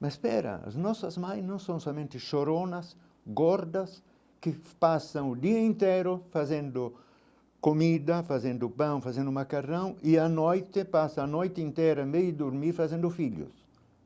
Mas pera, as nossas mães não são somente choronas, gordas, que passam o dia inteiro fazendo comida, fazendo pão, fazendo macarrão, e a noite passa a noite inteira de dormir fazendo filhos.